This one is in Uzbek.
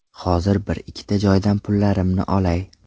Hozir bir-ikkita joydan pullarimni olay.